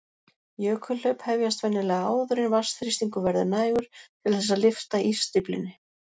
Jökulhlaup hefjast venjulega áður en vatnsþrýstingur verður nægur til þess að lyfta ísstíflunni.